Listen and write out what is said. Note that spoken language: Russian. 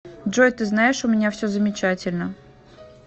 джой ты знаешь у меня все замечательно